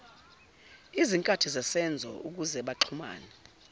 izinkathi zesenzo ukuzebaxhumane